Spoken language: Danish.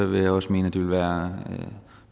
vil jeg også mene at det vil være